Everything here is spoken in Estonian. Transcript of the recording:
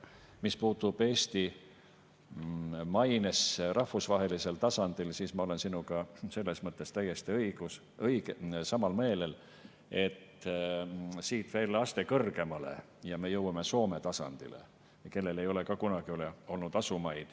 Mis puutub Eesti mainesse rahvusvahelisel tasandil, siis ma olen sinuga selles mõttes täiesti samal meelel, et siit veel aste kõrgemale ja me jõuame Soome tasandile, kellel ei ole ka kunagi olnud asumaid.